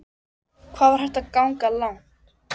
Hvað var hægt að ganga langt?